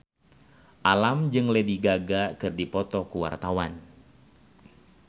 Alam jeung Lady Gaga keur dipoto ku wartawan